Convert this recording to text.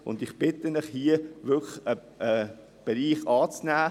Ich bitte Sie, diesen Bereich anzunehmen.